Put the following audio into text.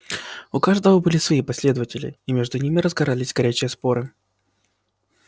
у каждого были свои последователи и между ними разгорались горячие споры